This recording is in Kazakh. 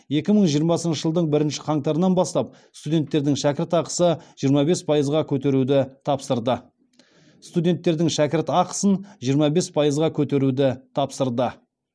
екі мың жиырмасыншы жылдың бірінші қаңтарынан бастап студенттердің шәкіртақысын жиырма бес пайызға көтеруді тапсырды